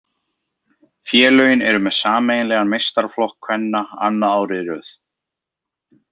Félögin eru með sameiginlegan meistaraflokk kvenna annað árið í röð.